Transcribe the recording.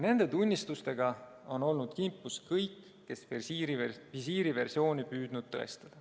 Nende tunnistustega on olnud kimpus kõik, kes on püüdnud tõestada visiiriversiooni.